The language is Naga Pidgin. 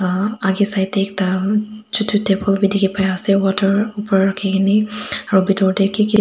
akae side tae ekta chutu table bi dikhipaiase water opor rakhikene aro bitor tae kiki.